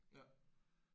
Ja